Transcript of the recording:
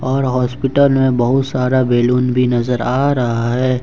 और हॉस्पिटल में बहुत सारा बैलून भी नजर आ रहा है।